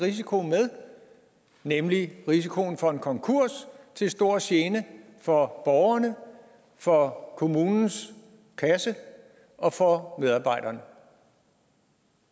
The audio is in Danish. risiko med nemlig risikoen for en konkurs til stor gene for borgerne for kommunens kasse og for medarbejderne